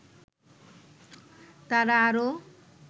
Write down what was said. তারা আরও